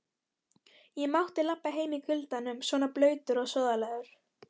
Ég mátti labba heim í kuldanum svona blautur og sóðalegur.